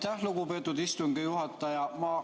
Aitäh, lugupeetud istungi juhataja!